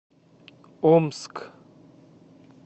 омск